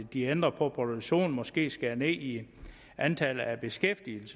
de ændrer på produktionen og måske skærer ned i antallet af beskæftigede